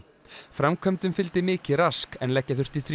framkvæmdum fylgdi mikið rask en leggja þurfti